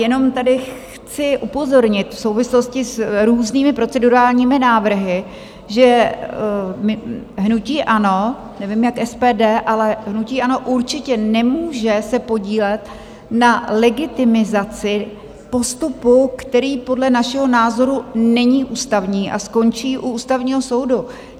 Jenom tady chci upozornit v souvislosti s různými procedurálními návrhy, že hnutí ANO, nevím, jak SPD, ale hnutí ANO určitě nemůže se podílet na legitimizaci postupu, který podle našeho názoru není ústavní a skončí u Ústavního soudu.